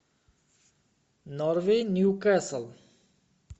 норвич ньюкасл